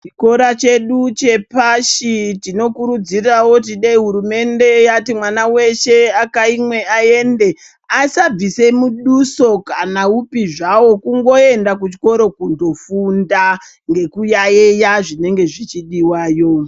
Chikora chedu chepashi tinokurudzirawo kuti dai hurumende yati mwana weshe akhaimwe aende asabvisa muduso kana upi zvawo. Kungoenda kuchikora kundofunda ngekuyaiya zvinenge zvichidiwayo.